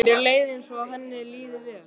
Mér leið eins og henni liði vel.